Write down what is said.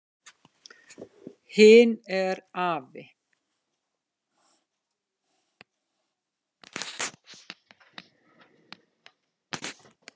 Hin er afi.